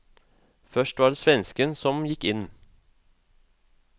Først var det svensken som gikk inn.